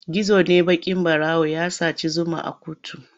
Gizo ne baƙin ɓarawo ya saci zuma a kuttu.